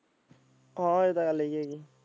ਹਾਂ ਇਹ ਤਾਂ ਗੱਲ ਹੀ ਹੈਗੀ।